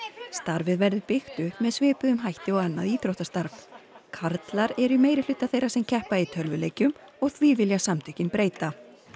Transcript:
starfið verður byggt upp með svipuðum hætti og annað íþróttastarf karlar eru í meirihluta þeirra sem keppa í tölvuleikjum og því vilja samtökin breyta